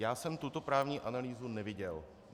Já jsem tuto právní analýzu neviděl.